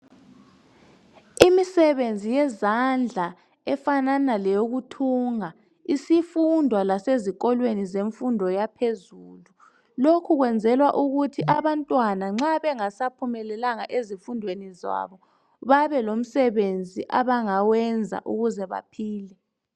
Imisebenzi yezandla efanana leyokuthunga isifundwa lasezikolweni zemfundo yaphezulu. Lokhu kwenzelwa ukuthi abantwana nxa bengasaphumelelanga ezifundweni zabo babelomsebenzi abangawenza ukuze baphile.